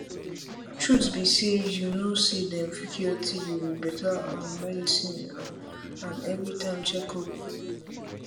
truth be say you know say them fit cure tb with better um medicine um and everytime check up